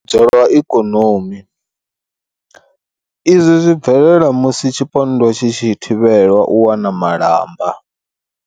U tambudzwa lwa ikonomi. Izwi zwi bvelela musi tshipondwa tshi tshi thivhelwa u wana malamba.